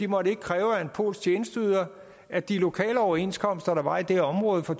måtte kræve af en polsk tjenesteyder at de lokale overenskomster der var i det her område for